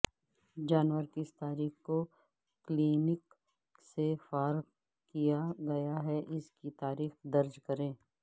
جانور کس تاریخ کو کلینک سے فارغ کیا گیا ہے اس کی تاریخ درج کریں